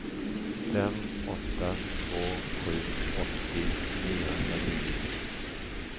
fem åtta två sju åttio niohundranio